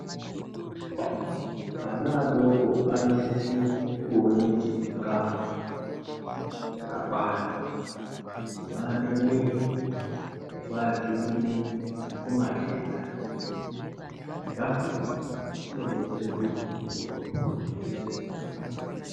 Vana adoko anosise kuone chikafu chaka kwana chino ake mwiri neku adzirire ku matenda chikafu ichi chino detsere kuti ukure zvakanaka.